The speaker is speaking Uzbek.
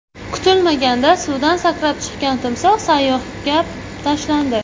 Kutilmaganda suvdan sakrab chiqqan timsoh sayyohga tashlandi .